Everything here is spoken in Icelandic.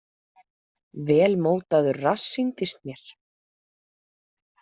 Vel mótaður rass sýndist mér.